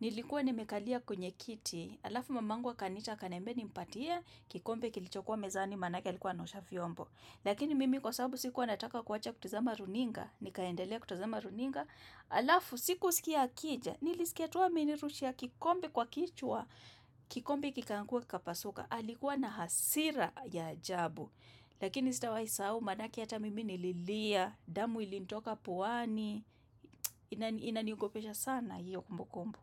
nilikuwa nimekalia kwenye kiti alafu mamangu akaniita akanimbia nimpatie kikombe kilichokuwa mezani manake alikuwa anaosha vyombo. Lakini mimi kwa sababu sikuwa nataka kuwacha kutazama runinga, nikaendelea kutuzama runinga, alafu siku usikia akija, nilisikia tu aminirushia kikombe kwa kichwa, kikombe kikaanguka kikapasuka, alikuwa na hasira ya ajabu. Lakini sitawai sahau manake ata mimi nililia, damu ilinitoka puani, inaniungopesha sana hiyo kumbukumbu.